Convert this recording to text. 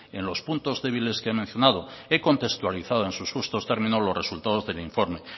en los puntos débiles que he mencionado he contextualizado en sus justos términos los resultados del informe